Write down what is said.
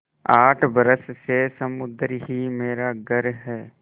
आठ बरस से समुद्र ही मेरा घर है